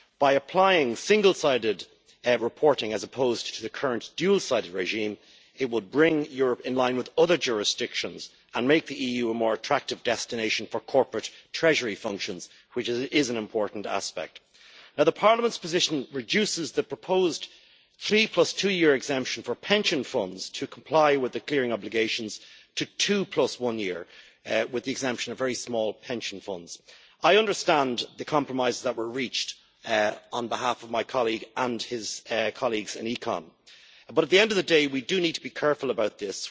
By applying single-sided reporting as opposed to the current dual sided regime, it would bring Europe in line with other jurisdictions and make the EU more attractive destination for corporate treasury functions, which is an important aspect. Parliament's position reduces the proposed three plus-two-year exemption for pension funds to comply with the clearing obligations to two-plus-one-year exemption, with very small pension funds exempted. I understand the compromises that were reached on behalf of my colleague and his colleagues in ECON, but at the end of the day we do need to be careful about this.